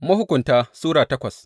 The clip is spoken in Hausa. Mahukunta Sura takwas